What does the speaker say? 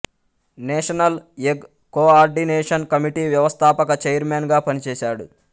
national egg coordination committee వ్యవస్థాపక chairman గా పనిచేశాడు